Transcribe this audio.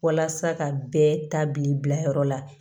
Walasa ka bɛɛ ta bi bila yɔrɔ la